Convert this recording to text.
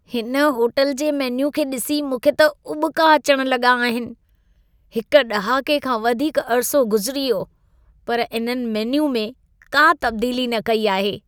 हिन होटल जे मेन्यू खे ॾिसी मूंखे त उॿिका अचण लॻा आहिनि। हिक ॾहाके खां वधीक अरिसो गुज़िरी वियो, पर इन्हनि मेन्यू में का तब्दीली न कई आहे।